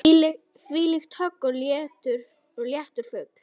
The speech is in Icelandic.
Þvílíkt högg og léttur fugl.